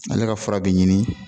Ale ka fura bɛ ɲini